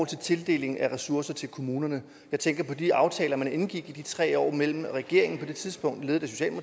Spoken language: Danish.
til tildelingen af ressourcer til kommunerne jeg tænker på de aftaler man indgik i de tre år mellem regeringen på det tidspunkt ledet af